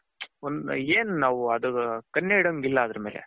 ಏನು ನಾವು ಅದರಮೇಲೆ